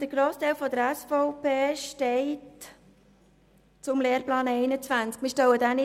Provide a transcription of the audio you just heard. Der Grossteil der SVP steht zum Lehrplan 21.